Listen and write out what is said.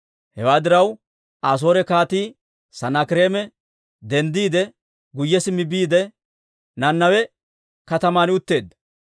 Hewaa diraw, Asoore Kaatii Sanaakireeme denddiide, guyye simmi biide, Nanawe kataman utteedda.